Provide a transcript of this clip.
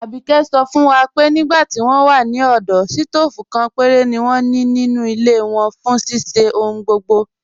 Àbíké sọ̀ fún wa pé nígbà tí wọn wà ní ọdọ̀, sítoofú kan pẹ̀rẹ̀ ni wọn ní nínu ilẹ̀ wọn fún ṣíṣẹ̀ ọ̀hùn gbogbo.